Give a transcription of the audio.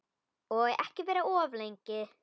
Og ekki vera of lengi.